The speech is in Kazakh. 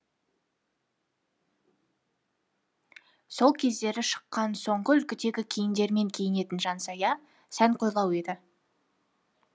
сол кездері шыққан соңғы үлгідегі киімдермен киінетін жансая сәнқойлау еді